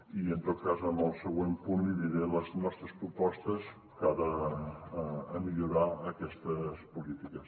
i en tot cas en el següent punt li diré les nostres propostes de cara a millorar aquestes polítiques